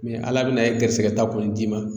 ala bɛna ye garisɛgɛ ta kɔni d'i ma.